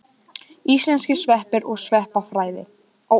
Íslenskir sveppir og sveppafræði.